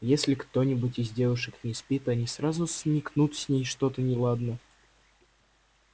если кто-нибудь из девушек не спит они сразу смекнут с ней что-то неладно